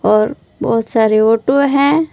और बहुत सारे ऑटो हैं।